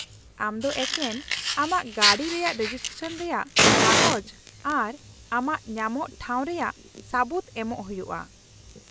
-ᱟᱢ ᱫᱚ ᱮᱠᱮᱱ ᱟᱢᱟᱜ ᱜᱟᱹᱰᱤ ᱨᱮᱭᱟᱜ ᱨᱮᱡᱤᱥᱴᱨᱮᱥᱚᱱ ᱨᱮᱭᱟᱜ ᱠᱟᱜᱚᱡ ᱟᱨ ᱟᱢᱟᱜ ᱧᱟᱢᱚᱜ ᱴᱷᱟᱸᱣ ᱨᱮᱭᱟᱜ ᱥᱟᱹᱵᱩᱫ ᱮᱢᱚᱜ ᱦᱩᱭᱩᱜᱼᱟ ᱾